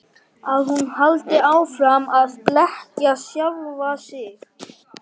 Að hún haldi áfram að blekkja sjálfa sig.